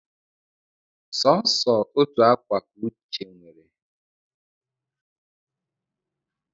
Sọsọ otu akwa ka nwa Uche nwere